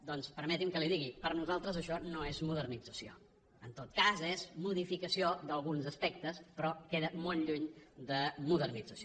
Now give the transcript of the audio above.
doncs permeti’m que li ho digui per a nosaltres això no és modernització en tot cas és modificació d’alguns aspectes però queda molt lluny de modernització